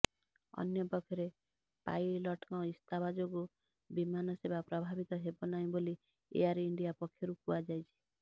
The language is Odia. ଅନ୍ୟପକ୍ଷରେ ପାଇଲଟଙ୍କ ଇସ୍ତଫା ଯୋଗୁ ବିମାନସେବା ପ୍ରଭାବିତ ହେବ ନାହିଁ ବୋଲି ଏୟାର ଇଣ୍ଡିଆ ପକ୍ଷରୁ କୁହାଯାଇଛି